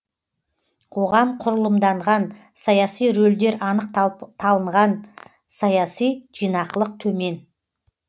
қоғам құрылымданған саяси рөлдер анық талынған саяси жинақылық төмен